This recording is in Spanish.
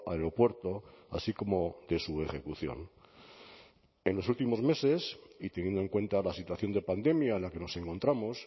aeropuerto así como de su ejecución en los últimos meses y teniendo en cuenta la situación de pandemia en la que nos encontramos